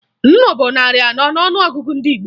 Nnu bụ narị anọ n'ọnụọgụgụ ndị Igbo